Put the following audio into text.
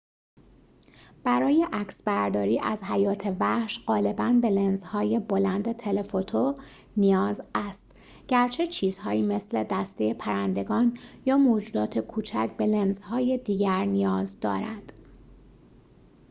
برای عکسبرداری از حیات وحش غالباً به لنزهای بلند تله‌فوتو نیاز است گرچه چیزهایی مثل دسته پرندگان یا موجودات کوچک به لنزهای دیگر نیاز دارد